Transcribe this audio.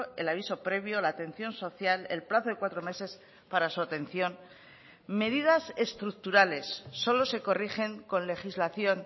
el aviso previo la atención social el plazo de cuatro meses para su atención medidas estructurales solo se corrigen con legislación